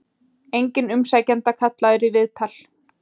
Enginn umsækjenda kallaður í viðtal